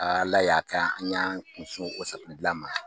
Ala la y'a kɛ, an y'aan kunsinw o ka safinɛ dilan ma.